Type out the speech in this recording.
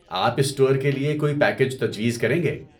آپ اس ٹور کے لیے کوئی پیکیج تجویز کریں گے؟